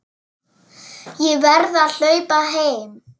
Ég verð að hlaupa heim.